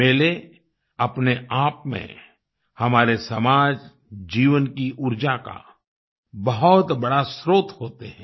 मेले अपने आप में हमारे समाज जीवन की ऊर्जा का बहुत बड़ा स्त्रोत होते हैं